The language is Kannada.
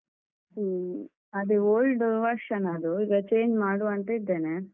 ಹ್ಮ. ಅದು old version ಅದು ಈಗ change ಮಾಡುವ ಅಂತಿದ್ದೇನೆ.